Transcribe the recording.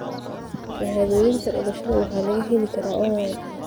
Shahaadooyinka dhalashada waxaa laga heli karaa onlayn.